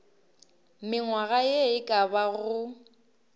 mengwaga ye e ka bago